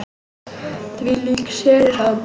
Þvílík sería sagði hún.